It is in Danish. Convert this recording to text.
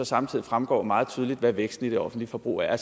samtidig fremgår meget tydeligt hvad væksten i det offentlige forbrug er